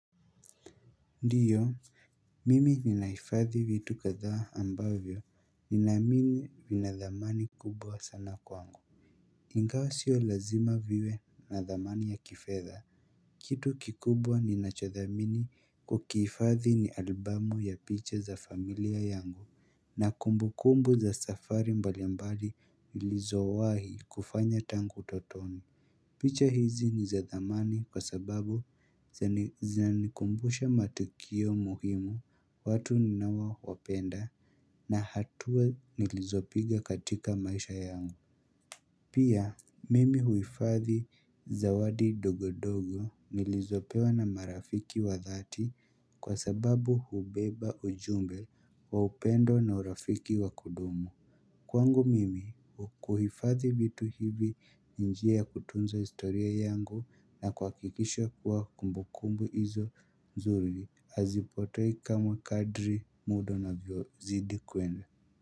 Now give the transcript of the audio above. Ndiyo, mimi ninaifadhi vitu kadha ambavyo, ninaamini nina dhamani kubwa sana kwangu ingawa sio lazima viwe na dhamani ya kifedha Kitu kikubwa nina cho thamini kukifadhi ni albamu ya picha za familia yangu na kumbu kumbu za safari mbalimbali nilizowahi kufanya tangu utotoni picha hizi nizadhamani kwa sababu zinanikumbusha matukio muhimu watu ninawa wapenda na hatua nilizopiga katika maisha yangu. Pia mimi huifathi zawadi ndogondogo nilizopewa na marafiki wa dhati kwa sababu hubeba ujumbe wa upendo na urafiki wa kudumu. Kwangu mimi kuhifathi vitu hivi ni njia ya kutunza historia yangu na kuha kikisha kuwa kumbu kumbu izo nzuri hazipotei kama kadri mudo una vyo zidi kwenda.